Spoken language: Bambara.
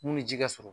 Mun ni ji ka sɔrɔ